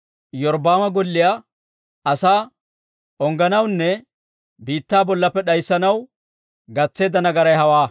Iyorbbaama golliyaa asaa ungganawunne biittaa bollaappe d'ayssanaw gatseedda nagaray hewaa.